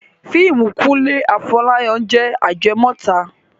Fíìmù Kúnlé Afọ́láyan jẹ ajẹmọ́tàn